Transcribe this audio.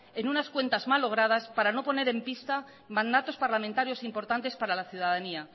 en unas cuentas malogradas para no poner en pista mandatos parlamentarios importantes para la ciudadanía